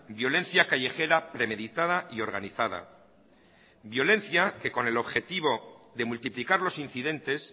violencia callejera premeditada y organizada violencia que con el objetivo de multiplicar los incidentes